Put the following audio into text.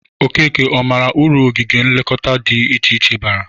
Okeke, ọ mara ụrụ ogige nlekọta dị iche iche bara?